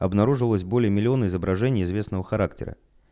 обнаружилось более миллиона изображений известного характера